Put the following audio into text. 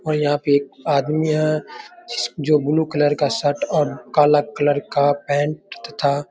और यहाँ पे एक आदमी है जो ब्लू कलर शर्ट और काला कलर का पेंट तथा --